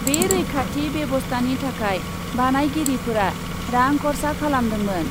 बे रैखाथि बेबस्टानि थाखाय बानायगिरिफोरा रां खर'सा खालामदोंमोन ।